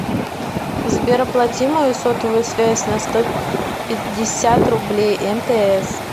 сбер оплати мою сотовую связь на сто пятьдесят рублей мтс